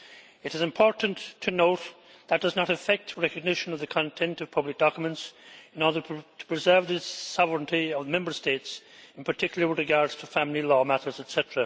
It is important to note that it does not affect recognition of the content of public documents in order to preserve the sovereignty of Member States, particularly with regard to family law matters, etc.